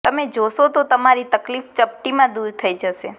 તમે જોશો તો તમારી તકલીફ ચપટી માં દુર થઇ જશે